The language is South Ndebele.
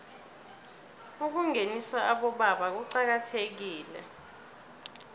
ukungenisa abobaba kuqakathekile